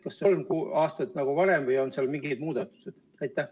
Kas kolm aastat nagu varem või on seal mingeid muudatusi?